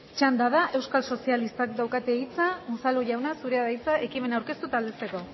txanda da euskal sozialistak dauka hitza unzalu jauna zurea da hitza ekimen aurkeztu eta aldezteko